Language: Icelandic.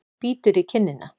Bítur í kinnina.